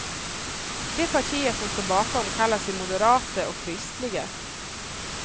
De partier som står bakom kallar sig moderata och kristliga.